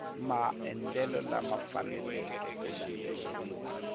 maendlelo lama faneleke ku landzeleriwa